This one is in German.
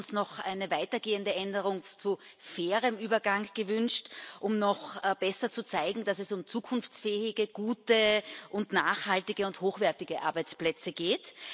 Wir hätten uns noch eine weitergehende Änderung zu fairem Übergang gewünscht, um noch besser zu zeigen, dass es um zukunftsfähige, gute, nachhaltige und hochwertige Arbeitsplätze geht.